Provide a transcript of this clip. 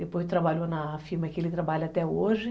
Depois trabalhou na firma que ele trabalha até hoje.